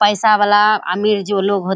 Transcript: पैसा वाला आमिर जो लोग हो --